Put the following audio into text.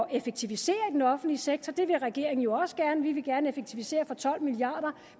effektivisere i den offentlige sektor det vil regeringen også gerne vi vil gerne effektivisere for tolv milliard